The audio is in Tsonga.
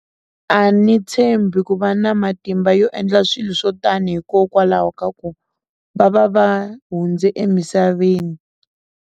A ni tshembi ku va na matimba yo endla swilo swo tani hikokwalaho ka ku va va va hundze emisaveni.